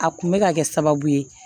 A kun bɛ ka kɛ sababu ye